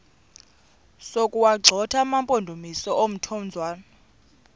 sokuwagxotha amampondomise omthonvama